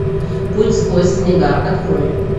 путь сквозь снега открой